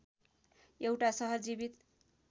एउटा सहर जीवित